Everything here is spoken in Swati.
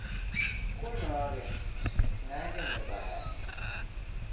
kunobe ngabe ngubani